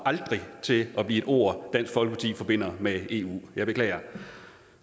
til at blive et ord dansk folkeparti forbinder med eu jeg beklager